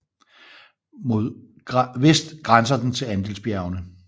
Mod vest grænser den til Andesbjergene